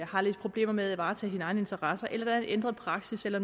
har lidt problemer med at varetage egne interesser eller der er ændret praksis eller